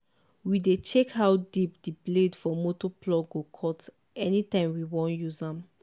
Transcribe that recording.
we dey check how deep di blade for motor plough go cut anytime wewan use am.